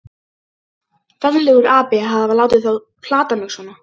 Ferlegur api að hafa látið þá plata mig svona.